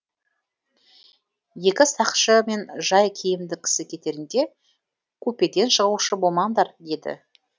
екі сақшы мен жай киімді кісі кетерінде купеден шығушы болмаңдар деді